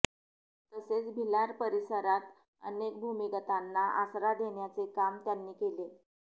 तसेच भिलार परिसरात अनेक भूमिगतांना आसरा देण्याचे काम त्यांनी केले